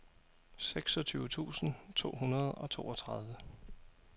seksogtyve tusind to hundrede og toogtredive